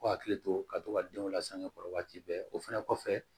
K'u hakili to ka to ka denw lasankɛ kɔrɔ waati bɛɛ o fɛnɛ kɔfɛ